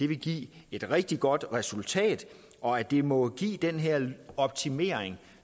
vil give et rigtig godt resultat og at det må give den her optimering